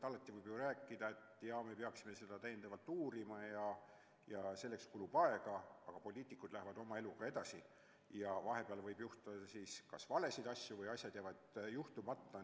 Alati võib ju rääkida, et jaa, me peaksime seda täiendavalt uurima ja selleks kulub aega, aga poliitikud lähevad oma eluga edasi ja vahepeal võib juhtuda kas valesid asju või jäävad asjad juhtumata.